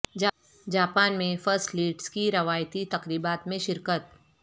Japan میں first ladies کی روایتی تقریبات میں شرکت